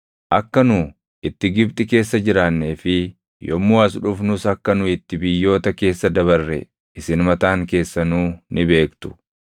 Akka nu itti Gibxi keessa jiraannee fi yommuu as dhufnus akka nu itti biyyoota keessa dabarre isin mataan keessanuu ni beektu.